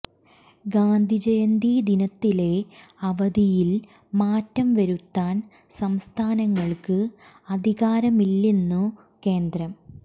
ഗാന്ധി ജയന്തി ദിനത്തിലെ അവധിയിൽ മാറ്റം വരുത്താൻ സംസ്ഥാനങ്ങൾക്ക് അധികാരമില്ലെന്നു കേന്ദ്രം